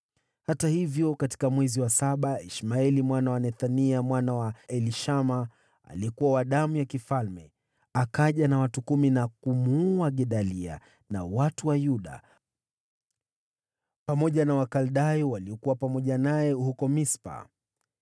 Hata hivyo, katika mwezi wa saba Ishmaeli mwana wa Nethania mwana wa Elishama, aliyekuwa wa uzao wa mfalme, akaja pamoja na watu kumi, nao wakamuua Gedalia, na pia watu wa Yuda, pamoja na Wakaldayo waliokuwa naye huko Mispa.